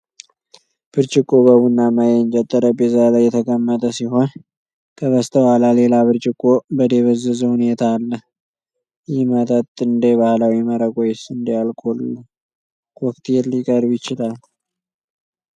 ብርጭቆው በቡናማ የእንጨት ጠረጴዛ ላይ የተቀመጠ ሲሆን፣ ከበስተኋላ ሌላ ብርጭቆ በደበዘዘ ሁኔታ አለ። ይህ መጠጥ እንደ ባህላዊ መረቅ ወይስ እንደ አልኮል ኮክቴል ሊቀርብ ይችላል?